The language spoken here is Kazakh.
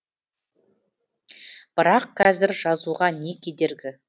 бірақ қазір жазуға не кедергі